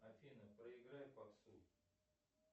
афина проиграй попсу